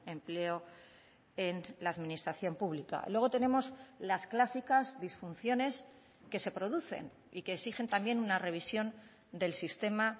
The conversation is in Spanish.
empleo en la administración pública luego tenemos las clásicas disfunciones que se producen y que exigen también una revisión del sistema